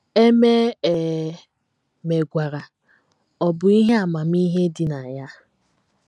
E mee e megwara, ọ̀ bụ ihe amamihe dị na ya?